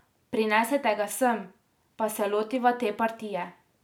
Prinesite ga sem, pa se lotiva te partije.